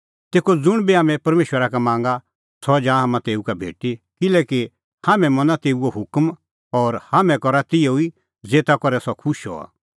तेखअ ज़ुंण बी हाम्हैं परमेशरा का मांगा सह जा हाम्हां तेऊ का भेटी किल्हैकि हाम्हैं मना तेऊए हुकम और हाम्हैं करा तिहअ ई ज़ेता करै सह खुश हआ